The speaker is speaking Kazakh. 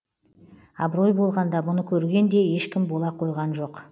абырой болғанда мұны көрген де ешкім бола қойған жоқ